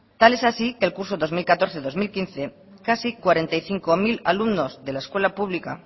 tal es así que el curso dos mil catorce dos mil quince casi cuarenta y cinco mil alumnos de la escuela pública